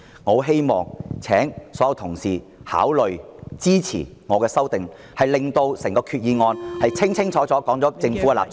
我希望所有同事考慮支持我的修訂議案，令到決議案清楚說明政府的立場。